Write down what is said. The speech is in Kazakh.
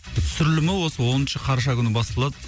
түсірілімі осы оныншы қараша күні басталады